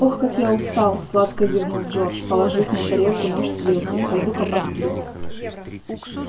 ох как я устал сладко зевнул джордж положив на тарелку нож с вилкой пойду-ка посплю